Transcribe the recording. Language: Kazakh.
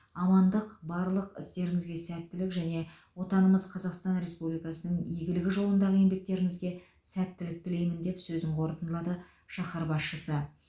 амандық барлық істеріңізге сәттілік және отанымыз қазақстан республикасының игілігі жолындағы еңбектеріңізге сәттілік тілеймін деп сөзін қорытындылады шаһар басшысы